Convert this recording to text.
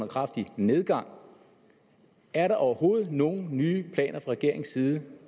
kraftig nedgang er der overhovedet nogen nye planer fra regeringens side